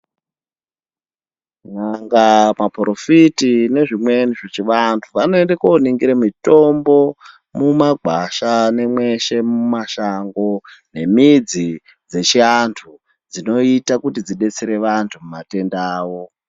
Nyanga, Maporofiti nezvimweni vechivantu vanoende kooningire mitombo mumakwasha nemweshe mumashango nemidzi dzechiantu dzinoita kuti dzidetsere vantu mumatenda avo .